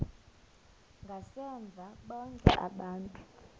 ngasemva bonke aba